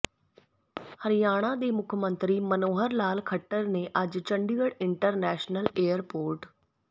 ਹਰਿਆਣਾ ਦੇ ਮੁੱਖ ਮੰਤਰੀ ਮਨੋਹਰ ਲਾਲ ਖੱਟਰ ਨੇ ਅੱਜ ਚੰਡੀਗੜ੍ਹ ਇੰਟਰਨੈਸ਼ਨਲ ਏਅਰਪੋਰਟ